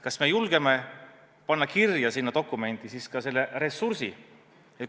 Kas me julgeme panna kirja sinna dokumenti ka ressursi?